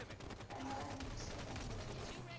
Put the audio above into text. ba nyalane ka tlhakanelo ya